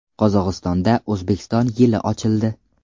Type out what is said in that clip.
Qozog‘istonda O‘zbekiston yili ochildi.